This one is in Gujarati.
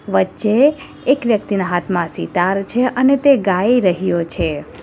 વચ્ચે એક વ્યક્તિના હાથમાં સિતાર છે અને તે ગાઇ રહ્યો છે.